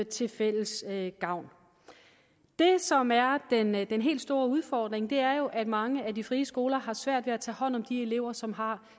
til fælles gavn det som er den er den helt store udfordring er jo at mange af de frie skoler har svært ved at tage hånd om de elever som har